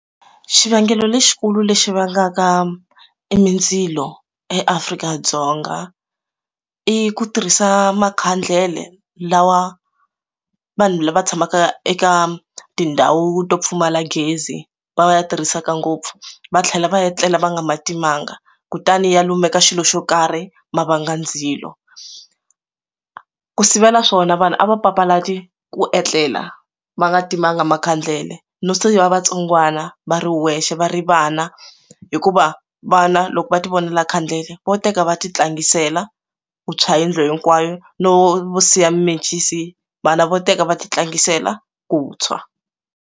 Xivangelo lexikulu lexi vangaka mindzilo eAfrika-Dzonga i ku tirhisa makhandlele lawa vanhu lava tshamaka eka tindhawu to pfumala gezi va va ya tirhisaka ngopfu va tlhela va etlela va nga ma timanga kutani ya lumeka xilo xo karhi ma vanga ndzilo ku sivela swona vanhu a va papalati ku etlela va nga timanga makhandlele no siva vatsongwana va ri wexe va ri vana hikuva vana loko va ti vonela khandlele vo teka va ti tlangiseka vuntshwa yindlu hinkwayo no siya mimencisi vana vo teka va ti tlangisela ku tshwa.